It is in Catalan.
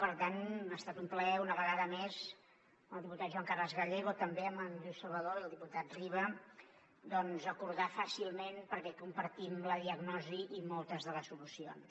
per tant ha estat un plaer una vegada més amb el diputat joan carles gallego també amb en lluís salvadó i el diputat riba doncs acordar fàcilment perquè compartim la diagnosi i moltes de les solucions